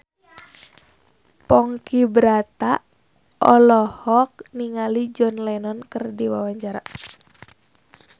Ponky Brata olohok ningali John Lennon keur diwawancara